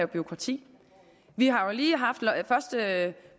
bureaukrati vi har jo lige haft første